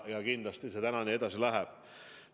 Ja kindlasti see edasi nii ka läheb.